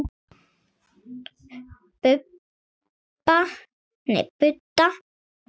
Budda: Já.